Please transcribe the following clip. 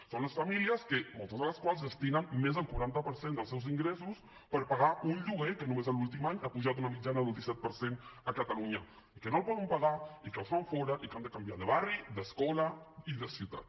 són les famílies que moltes de les quals destinen més del quaranta per cent dels seus ingressos per pagar un lloguer que només l’últim any ha pujat una mitjana del disset per cent a catalunya i que no el poden pagar i que les fan fora i que han de canviar de barri d’escola i de ciutat